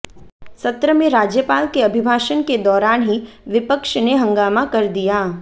सत्र में राज्यपाल के अभिभाषण के दौरान ही पिवक्ष ने हंगामा कर दिया